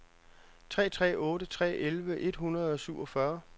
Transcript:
tre tre otte tre elleve et hundrede og syvogfyrre